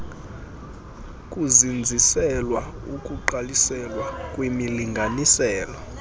kuzinziselwa ukugqalisela kwimilinganiselo